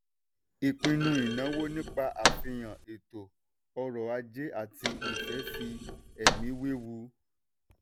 ìpinnu ìnáwó nípa àfihàn eto ọrọ̀ ajé àti ìfẹ́ fi ẹ̀mí wewu.